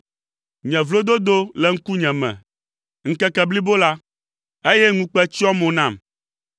Nye vlododo le ŋkunye me ŋkeke blibo la, eye ŋukpe tsyɔa mo nam,